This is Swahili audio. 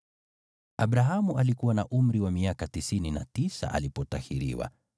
Abrahamu alikuwa na umri wa miaka tisini na tisa alipotahiriwa,